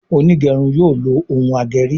Onigerun yóò ló Òún ageri.